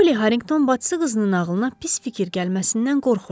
Poli Harrington bacısı qızının ağlına pis fikir gəlməsindən qorxurdu.